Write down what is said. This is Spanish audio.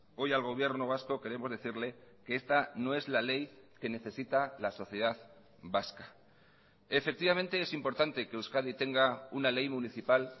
hoy al gobierno vasco queremos decirle que esta no es la ley que necesita la sociedad vasca efectivamente es importante que euskadi tenga una ley municipal